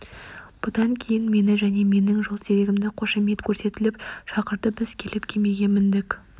бұдан кейін мені және менің жолсерігімді қошемет көрсетіп шақырды біз келіп кемеге міндік